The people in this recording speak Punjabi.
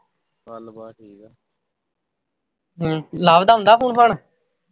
ਹਮ ਲਵ ਦਾ ਆਉਂਦਾ phone ਫਾਨ